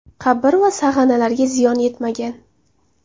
Qabr va sag‘analarga ziyon yetmagan.